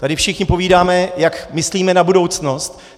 Tady všichni povídáme, jak myslíme na budoucnost.